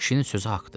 Kişinin sözü haqqdır.